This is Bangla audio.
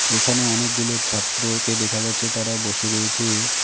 এখানে অনেকগুলো ছাত্রকে দেখা যাচ্ছে তারা বসে রয়েছে।